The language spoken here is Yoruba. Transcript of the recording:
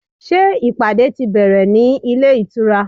Ṣé ìpàdé ti bẹ̀rẹ̀ ní ilé ìtura?